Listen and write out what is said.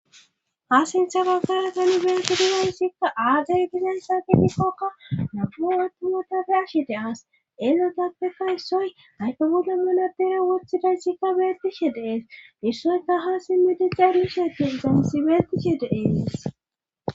hasintha bagara kan bensiriyaysssikka aaday gizensa ginikkokka napuwattuwotafe ashide as elotappeka issoy ayke goda manadera woththidayssikka beetishe dees issoyka ha simmedi cerishatin dansibeetishe deees